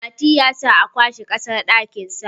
Mati ya sa a kwashe kasar dakinsa